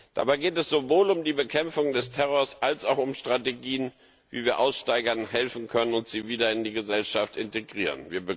Dabei geht es sowohl um die Bekämpfung des Terrors als auch um Strategien, wie wir Aussteigern helfen können und sie wieder in die Gesellschaft integrieren.